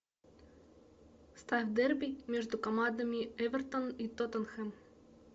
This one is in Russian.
ставь дерби между командами эвертон и тоттенхэм